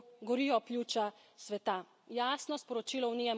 A naj mirno gledamo, kako gorijo pljuča sveta.